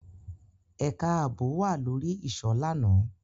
Ẹka aabo wa lori iṣọ làná